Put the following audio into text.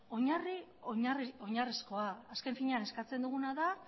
oinarri oinarrizkoa azken finean eskatzen duguna da